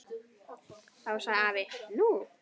Þá sagði afi: Nú?